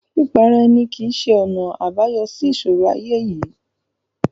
Pípa ara ẹni kìí ṣe ọ̀nà àbáyọ sí ìṣòro ayé yìí.